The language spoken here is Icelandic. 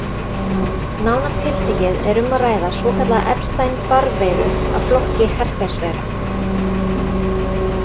Nánar tiltekið er um að ræða svokallaða Epstein-Barr veiru af flokki herpesveira.